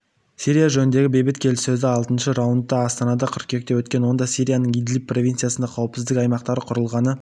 сирия жөніндегі бейбіт келіссөздің алтыншы раунды астанада қыркүйекте өткен онда сирияның идлиб провинциясында қауіпсіздік аймақтары құрылғаны